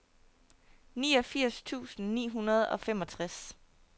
niogfirs tusind ni hundrede og femogtres